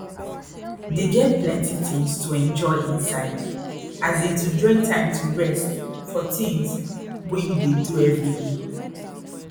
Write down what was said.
dey get plenty tins to enjoy inside as in to join time to rest for tins wey you dey do everyday